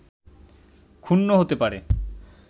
ক্ষুণ্ন হতে পারে